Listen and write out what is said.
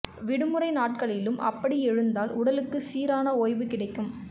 விடுமறை நாட்களிலும் அப்படி எழுந்தால் உடலுக்கு சீரான ஓய்வு கிடைக்கும்